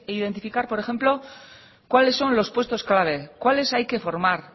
identificar por ejemplo cuáles son los puestos clave cuáles hay que formar